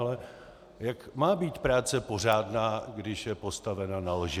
Ale jak má být práce pořádná, když je postavena na lži?